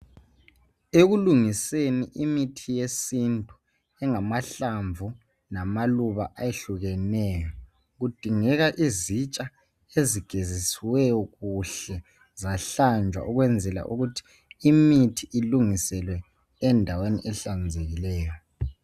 Ekulungiseni imithi yesintu ingakahlangani lamaluba ayehlukeneyo. Kudingeka izitsha ezigeziswe zahlanjwa kuhle ukwenzela ukuthi imithi ilungiselwe endaweni ehlanzekileyo.